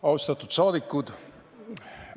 Austatud rahvasaadikud!